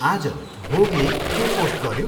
आज भोगले के पोस्ट गऱ्यो?